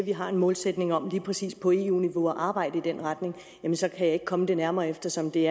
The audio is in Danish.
at vi har en målsætning om lige præcis på eu niveau at arbejde i den retning så kan jeg ikke komme det nærmere eftersom det